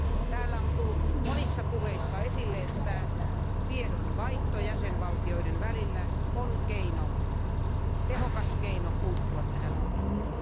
Täällä on tullut monissa puheissa esille, että tiedonvaihto jäsenvaltioiden välillä on tehokas keino puuttua tähän ongelmaan.